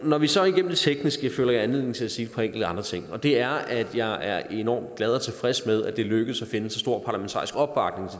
når vi så er igennem det tekniske føler jeg anledning til at sige et par enkelte andre ting det er at jeg er er enormt glad og tilfreds med at det er lykkedes at finde så stor parlamentarisk opbakning